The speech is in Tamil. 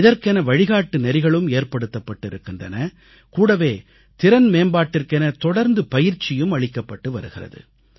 இதற்கென வழிகாட்டு நெறிகளும் ஏற்படுத்தப்பட்டிருக்கின்றன கூடவே திறன் மேம்பாட்டிற்கென தொடர்ந்து பயிற்சியும் அளிக்கப்பட்டு வருகிறது